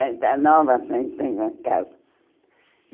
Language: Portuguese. Está está nova, está está em casa.